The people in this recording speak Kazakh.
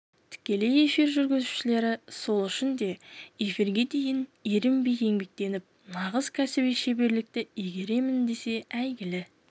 тікелей эфир жүргізушілері сол үшін де эфирге дейін ерінбей еңбектеніп нағыз кәсіби шеберлікті игеремін десе әйгілі